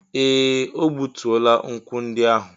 Ee! O gbutuola nkwụ ndị ahụ.